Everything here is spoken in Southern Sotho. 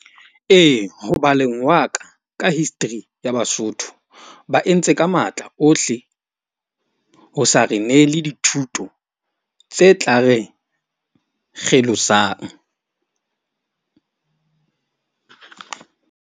Ee, ho baleng wa ka ka history ya Basotho. Ba entse ka matla ohle ho sa re nele dithuto tse tla re kgelosang.